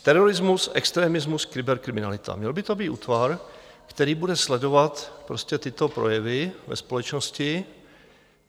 Terorismus, extremismus, kyberkriminalita - měl by to být útvar, který bude sledovat tyto projevy ve společnosti.